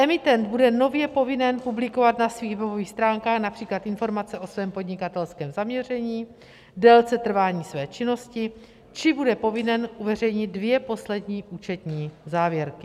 Emitent bude nově povinen publikovat na svých webových stránkách například informace o svém podnikatelském zaměření, délce trvání své činnosti či bude povinen uveřejnit dvě poslední účetní závěrky.